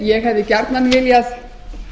ég hefði gjarnan viljað